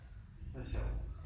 Hvor sjovt